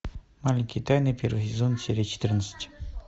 маленькие тайны первый сезон серия четырнадцать